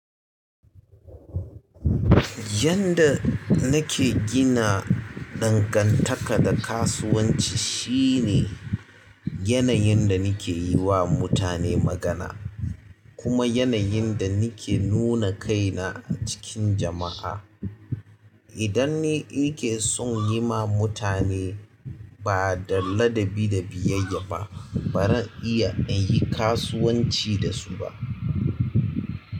Yanda nake gina dangantaka da kasuwanci shine yanayin da nake yiwa mutane magana kuma yanayin da nake nuna kaina a cikin jama'a. Idan ni in ke son yi ma mutane ba da ladabi da biyayya ba, ba zan iya in yi kasuwanci dasu ba.